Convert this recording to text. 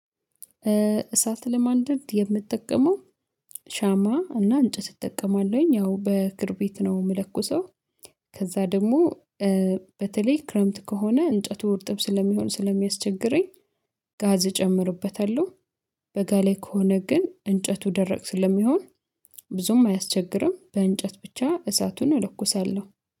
እሳት ለማንደርድ የምትጠቀመው ሻማ እና እንጨት እጠቀማለሁኝ ያው በክርቤት ነው የምለኩሰው። ከዛ ደግሞ በተለይ ክረምት ከሆነ እንጨቱ እርጥብ ስለሚሆን ስለሚያስቸግረኝ። ጋዝ እጨምርበታለሁ። በጋ ላይ ከሆነ ግን እንጨቱ ደረቅ ስለሚሆን ብዙም አያስቸግርም። በእንጨት ብቻ እሳቱን እለኩሳለሁ